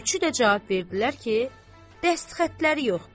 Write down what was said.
Üçü də cavab verdilər ki, dəst xətləri yoxdur.